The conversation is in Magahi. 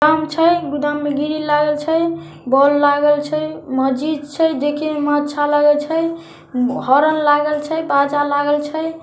गोदाम छै गोदाम में ग्रिल लागल छै | बौल लागल छै मस्जिद छै देखे मे अच्छा लागे छै हॉर्न लागल छै बाजा लागल छे |